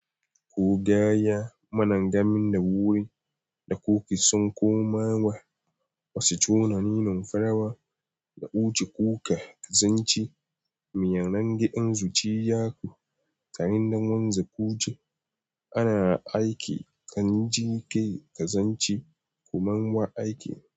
Kogaya managamin da wuri da kuke son komawa, wasu conaninin farawa da kuce kuka kazanci miyan rangaden zuciyarku. Ta yanda wanzu kuce ana aiki kan jiƙe kazanci koman ma aiki.